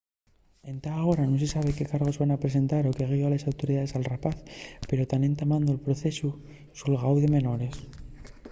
entá agora nun se sabe qué cargos van presentar o qué guió a les autoridaes al rapaz pero tán entamando'l procesu nel xulgáu de menores